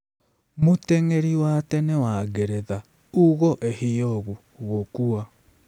Mũteng'eri wa tene wa Ngeretha Ugo Ehiogu gũkua